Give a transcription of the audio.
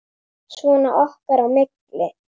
Svona okkar á milli.